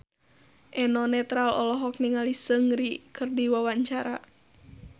Eno Netral olohok ningali Seungri keur diwawancara